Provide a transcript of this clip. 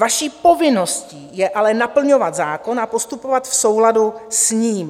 Vaší povinností je ale naplňovat zákon a postupovat v souladu s ním.